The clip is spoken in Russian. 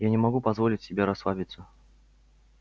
я не могу позволить себе расслабиться